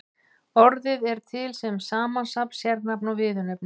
Orðið er til sem samnafn, sérnafn og viðurnefni.